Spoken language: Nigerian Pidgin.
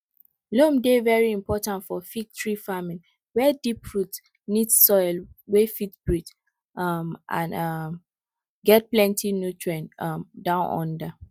loam dey very important for fig tree farming were deep roots need soil wey fit breathe um and um get plenty nutrients um down under